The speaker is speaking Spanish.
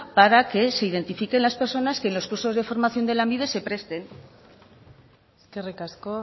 para que se identifiquen las personas que en los cursos de formación de lanbide se presten eskerrik asko